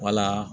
Wala